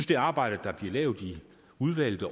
det arbejde der bliver lavet i udvalget